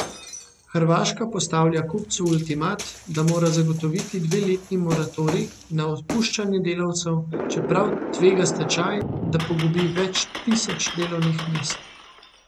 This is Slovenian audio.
Hrvaška postavlja kupcu ultimat, da mora zagotoviti dveletni moratorij na odpuščanje delavcev, čeprav tvega stečaj, da pogubi več tisoč delovnih mest.